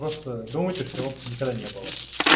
просто думайте что его никогда не было